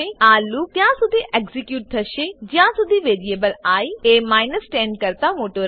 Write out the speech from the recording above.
આ લૂપ ત્યાંસુધી એક્ઝીક્યુટ થશે જ્યાંસુધી વેરીએબલ આઇ એ 10 કરતા મોટો રહે છે